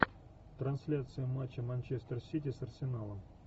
трансляция матча манчестер сити с арсеналом